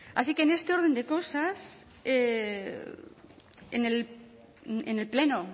así que en este orden de cosas en el pleno